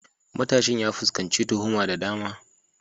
Matashin ya fuskanci tuhuma da dama.